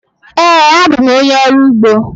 Ee, abụ m onye ọrụ ugbo.